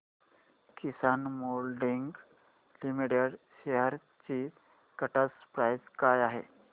किसान moulding limited shares ची current price काय आहे